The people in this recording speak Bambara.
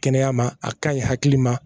Kɛnɛya ma a kaɲi hakili ma